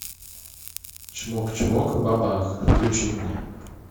чмок чмок ба бах включи мне